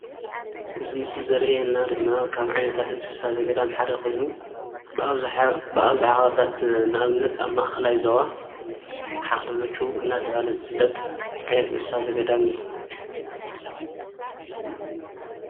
እዚ ምስሊ ዘርእየና ድማ ካብ ዓይነታት እንስሳ ዘገዳም ሓደ ኮይኑ ብኣብዝሓ ኣብ ንኣብነት ማእከላይ ዞባ ሓክሊ ሙጩ እንዳተባሃለ ዝፍልጥ እንስሳ ዘገዳም እዩ፡፡